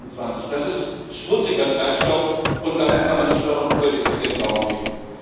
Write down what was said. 2020. Das ist schmutziger Treibstoff, und da kann man nicht noch ein Umweltetikett draufkleben.